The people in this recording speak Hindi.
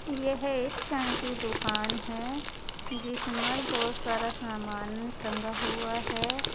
यह एक चाय की दुकान है जिसमें बहोत सारा सामान टंगा हुआ है।